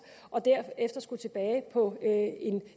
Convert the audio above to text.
og derefter skulle tilbage på